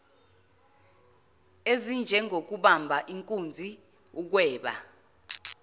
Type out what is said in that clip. ezinjengokubamba inkunzi ukweba